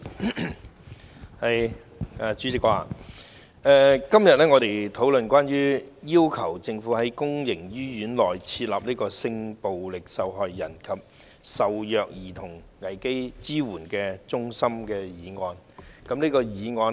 代理主席，我們今天討論關於"要求政府在公營醫院內增設性暴力受害人及受虐兒童危機支援中心"的議案。